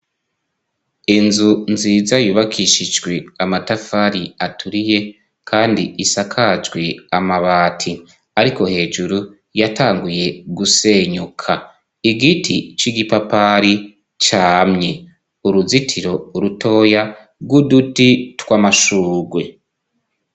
Inzu nziza yubakishijwe amatafari aturiye, kandi isakajwi amabati, ariko hejuru yatanguye gusenyuka igiti c'igipapari camye uruzitiro urutoya rw'uduti tw'amashurwe.